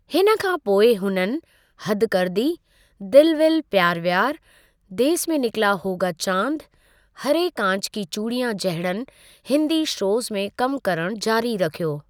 हिन खां पोइ हुननि, हद कर दी, दिल विल प्यारु व्यार, देस में निकला होगा चाँद, हरे काँच की चूड़ियाँ जहिड़नि हिंदी शोज़ में कम करणु जारी रखियो।